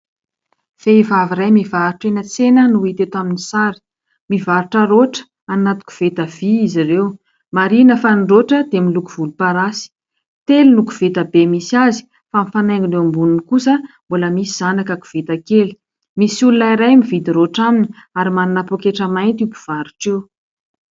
Vehivavy iray mivarotra eny an-tsena no hita eto amin'ny sary. Mivarotra rotra any anaty koveta vỳ izy ireo. Marihina fa ny rotra dia miloko volomparasy. Telo no koveta be misy azy, fa mifanaingina eo amboniny kosa mbola misy zanaka koveta kely. Misy olona iray mividy rotra aminy ary manana pôketra mainty io mpivarotra io.